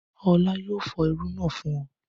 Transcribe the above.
Ọlá yóò fọ irú náà fún ọ.